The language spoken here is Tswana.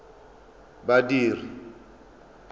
badiri